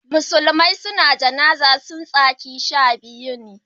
musulmai su na jana'zar su tsakin shabiyu ne